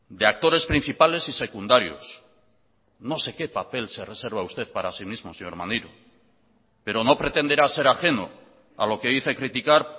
de actores principales y secundarios no sé qué papel se reserva usted para sí mismo señor maneiro pero no pretenderá ser ajeno a lo que dice criticar